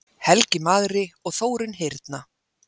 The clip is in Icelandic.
Helgi magri og Þórunn hyrna.